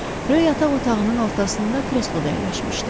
Ro yataq otağının ortasında kresloda əyləşmişdi.